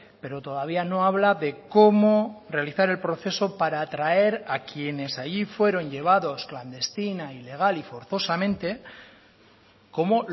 pero todavía no habla de cómo realizar el proceso para atraer a quienes allí fueron llevados clandestina ilegal y forzosamente como